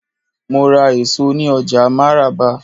Mo ra èso ní ọjà máràba.